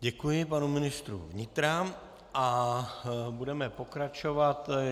Děkuji panu ministru vnitra a budeme pokračovat.